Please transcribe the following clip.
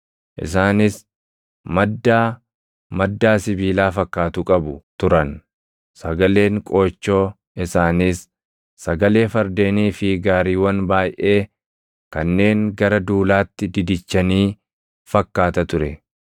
Isaanis maddaa maddaa sibiilaa fakkaatu qabu turan; sagaleen qoochoo isaaniis sagalee fardeenii fi gaariiwwan baayʼee kanneen gara duulaatti didichanii fakkaata ture.